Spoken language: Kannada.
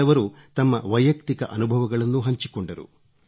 ಕೆಲವರು ತಮ್ಮ ವೈಯುಕ್ತಿಕ ಅನುಭವಗಳನ್ನೂ ಹಂಚಿಕೊಂಡರು